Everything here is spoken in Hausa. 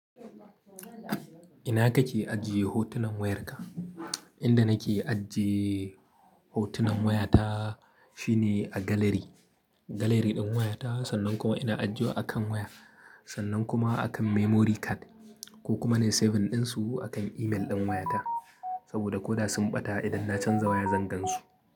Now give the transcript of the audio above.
Ina kake ajiye hotunan wayarka? Inda nake ajiye hotunan wayata shine a gallery, gallery ɗin wayata sannan kuma ina ajiyewa akan waya, sannan kuma akan memory card ko kuma na saving ɗinsu akan email ɗin wayata saboda ko da sun ɓata idan na canza waya zan gan su.